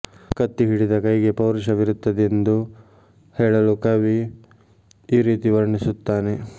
ಕತ್ತಿ ಹಿಡಿದ ಕೈಗೆ ಪೌರುಷವಿರುತ್ತದೆಂದು ಹೇಳಲು ಕವಿ ಈ ರೀತಿ ವರ್ಣಿಸುತ್ತಾನೆ